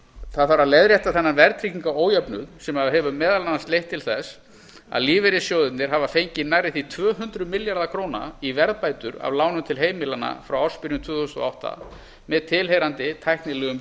það þarf að leiðrétta þennan verðtryggingarójöfnuð sem hefur meðal annars leitt til að lífeyrissjóðirnir hafa fengið nærri því tvö hundruð milljarða króna í verðbætur af lánum til heimilanna frá ársbyrjun tvö þúsund og átta með tilheyrandi tæknilegum